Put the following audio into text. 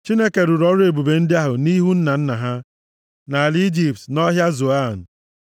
Chineke rụrụ ọrụ ebube ndị a nʼihu nna nna ha nʼala Ijipt na nʼọhịa Zoan.